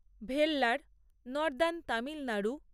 Vellore northern Tamil Nadu